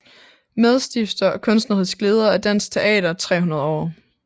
Medstifter og kunstnerisk leder af Dansk Teater 300 År